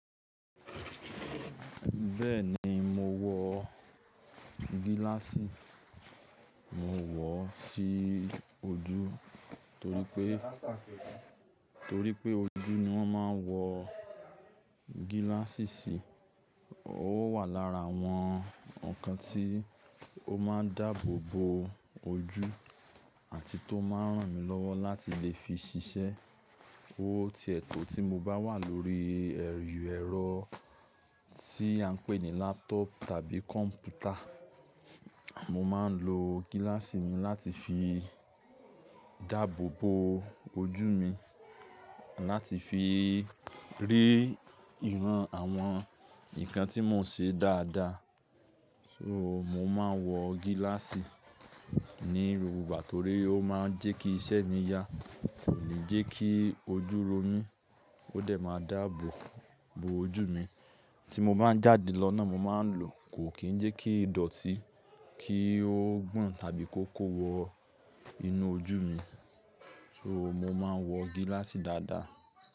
Bẹ́ẹ̀ ni, mo wọ gíláàsì, mo wọ̀ ọ́ sí ojú torí pé, torí pé ojú ni wọ́n máa ń wọ gíláàsì sí. Ó wà lára àwọn ǹkan tí ó máa ń dáàbò bo ojú àti tó máa ń ràn mí lọ́wọ́ láti lè fi ṣiṣẹ́. Ó tiẹ̀ to tí mo bá wà lórí ẹrọ tí a ń pè ní laptop tàbí kọ̀mpútà. Mo máa ń lo gíláàsì mi láti fi dáàbò bo ojú mi, láti fi rí ìran àwọn ǹkan tí mò ń ṣe dáadáa. So mo máa ń wọ gíláàsì ní gbogbo ìgbà torí ó máa ń jẹ́ kí iṣẹ́ mi yá, kò ní jẹ́ kí ojú ro mí, ó dẹ̀ máa dáàbò bo ojú mi. Tí mo bá ń jáde lọ náà mo máa ń lo, kò kí ń jẹ́ kí í dọ̀tí, kí ó gbon tàbí kó kó wọ inú ojú mi. So mo máa ń wọ gíláàsì dáadáa.